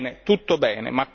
Bene, tutto bene!